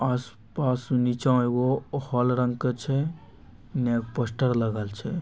आस-पास नीचा एगो हॉल रंग के छै इने एगो पोस्टर लगल छै।